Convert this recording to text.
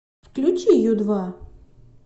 включи ю два